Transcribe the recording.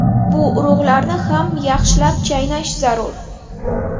Bu urug‘larni ham yaxshilab chaynash zarur.